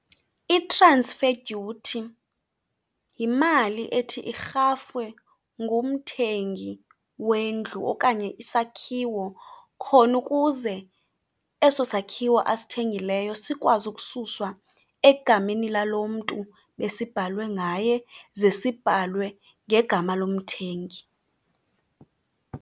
I-transfer duty yimali ethi irhafwe ngumthengi wendlu okanye isakhiwo khona ukuze eso sakhiwo asithengileyo sikwazi ukususwa egameni lalo mntu besibhalwe ngaye ze sibhalwe ngegama lomthengi.